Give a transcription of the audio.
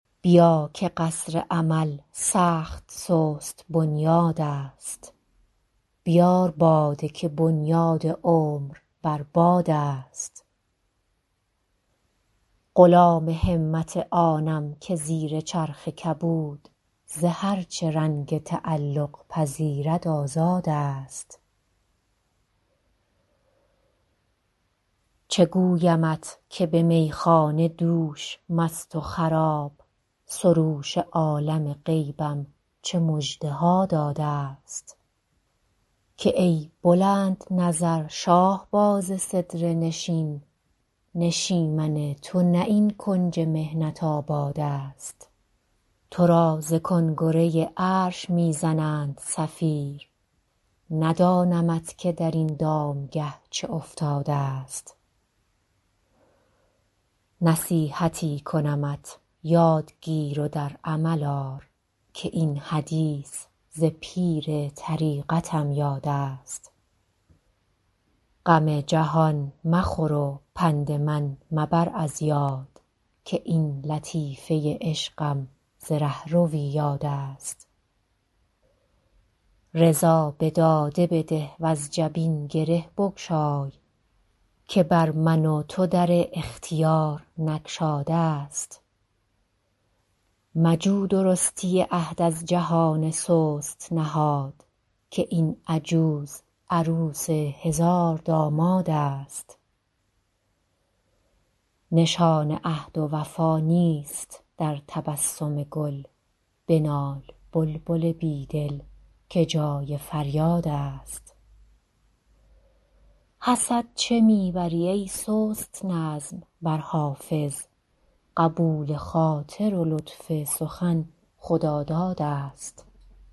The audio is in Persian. بیا که قصر امل سخت سست بنیادست بیار باده که بنیاد عمر بر بادست غلام همت آنم که زیر چرخ کبود ز هر چه رنگ تعلق پذیرد آزادست چه گویمت که به میخانه دوش مست و خراب سروش عالم غیبم چه مژده ها دادست که ای بلندنظر شاهباز سدره نشین نشیمن تو نه این کنج محنت آبادست تو را ز کنگره عرش می زنند صفیر ندانمت که در این دامگه چه افتادست نصیحتی کنمت یاد گیر و در عمل آر که این حدیث ز پیر طریقتم یادست غم جهان مخور و پند من مبر از یاد که این لطیفه عشقم ز رهروی یادست رضا به داده بده وز جبین گره بگشای که بر من و تو در اختیار نگشادست مجو درستی عهد از جهان سست نهاد که این عجوز عروس هزاردامادست نشان عهد و وفا نیست در تبسم گل بنال بلبل بی دل که جای فریادست حسد چه می بری ای سست نظم بر حافظ قبول خاطر و لطف سخن خدادادست